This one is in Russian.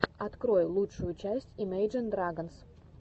открой лучшую часть имейджин драгонс